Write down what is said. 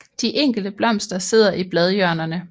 De enkelte blomster sidder i bladhjørnerne